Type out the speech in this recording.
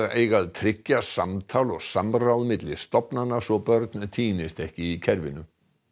eiga að tryggja samtal og samráð milli stofnana svo börn týnist ekki í kerfinu